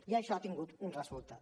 i això ha tingut un resultat